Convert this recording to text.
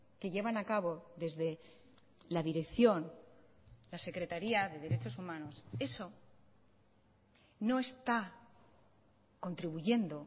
que llevan a cabo desde la dirección la secretaría de derechos humanos eso no está contribuyendo